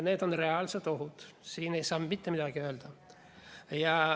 Need on reaalsed ohud, siin ei saa mitte midagi öelda.